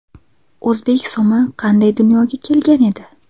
O‘zbek so‘mi qanday dunyoga kelgan edi?